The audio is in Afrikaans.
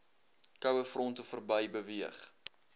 kouefronte verby beweeg